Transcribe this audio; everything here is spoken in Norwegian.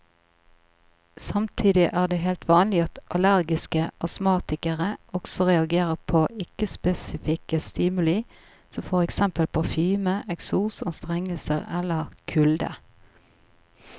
Samtidig er det helt vanlig at allergiske astmatikere også reagerer på ikke spesifikke stimuli som for eksempel parfyme, eksos, anstrengelse eller kulde.